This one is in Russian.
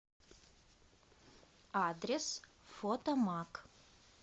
адрес фотомаг